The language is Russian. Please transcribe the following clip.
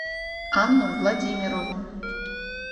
анну владимирову